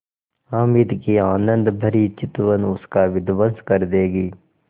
हामिद की आनंदभरी चितवन उसका विध्वंस कर देगी